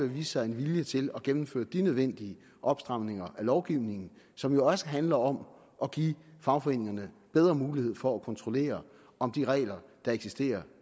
vise sig en vilje til at gennemføre de nødvendige opstramninger af lovgivningen som jo også handler om at give fagforeningerne bedre mulighed for at kontrollere om de regler der eksisterer